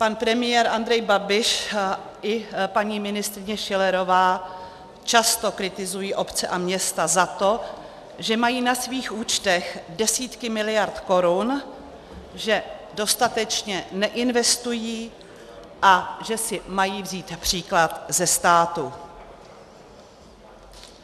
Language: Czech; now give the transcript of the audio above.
Pan premiér Andrej Babiš i paní ministryně Schillerová často kritizují obce a města za to, že mají na svých účtech desítky miliard korun, že dostatečně neinvestují a že si mají vzít příklad ze státu.